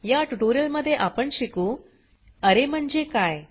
या ट्यूटोरियल मध्ये आपण शिकू अरे म्हणजे काय